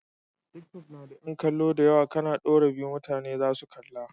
Tiktok na da yan kallo dayawa kAna dora abu mutane zasu gani